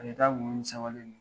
A bɛ taa tuma min n sewalen don.